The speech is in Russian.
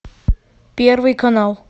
первый канал